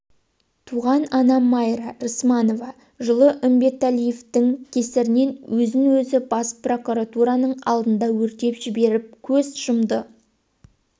туған анам майра рысманова жылы үмбетәлиевтің кесірінен өзін өзі бас прокуратураның алдында өртеп жіберіп көз жұмды